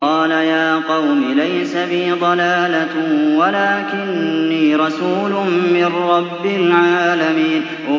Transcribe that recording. قَالَ يَا قَوْمِ لَيْسَ بِي ضَلَالَةٌ وَلَٰكِنِّي رَسُولٌ مِّن رَّبِّ الْعَالَمِينَ